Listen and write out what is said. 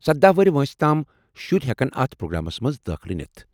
سدہَ ؤہرۍ وٲنٛسہِ تام شُرۍ ہٮ۪کن اتھ پروگرامس منٛز دٲخلہٕ نتھ